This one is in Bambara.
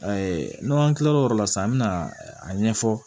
n'an kila l'o yɔrɔ la sisan an bɛ na a ɲɛfɔ